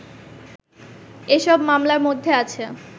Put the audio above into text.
এসব মামলার মধ্যে আছে